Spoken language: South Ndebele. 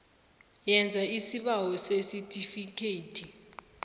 yenza isibawo sesitifikhethi